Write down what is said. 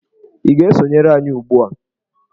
Ị ga-esonyere anyị ugbu a!